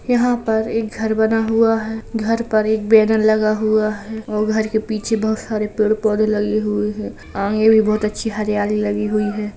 यहाँ पर एक घर बना हुआ है। घर पर एक बैनर लगा हुआ है और घर के पीछे बहुत सारे पेड़ पौधे लगे हुएँ हैं। आंगे भी बहुत अच्छी हरियाली लगी हुई है।